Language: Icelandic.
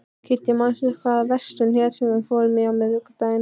Kiddý, manstu hvað verslunin hét sem við fórum í á miðvikudaginn?